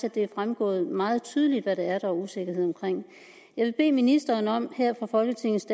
at det er fremgået meget tydeligt hvad det er der er usikkerhed omkring jeg vil bede ministeren om her fra folketingets